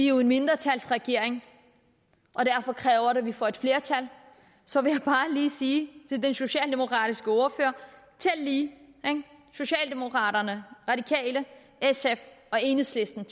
er en mindretalsregering og derfor kræver det at de får et flertal så vil jeg bare lige sige til den socialdemokratiske ordfører tæl lige socialdemokraterne radikale sf og enhedslisten